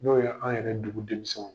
N'o ye an yɛrɛ dugu denmisɛnw